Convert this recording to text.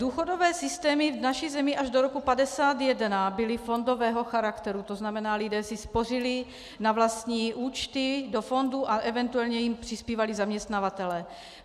Důchodové systémy v naší zemi až do roku 1951 byly fondového charakteru, to znamená lidé si spořili na vlastní účty, do fondů a eventuálně jim přispívali zaměstnavatelé.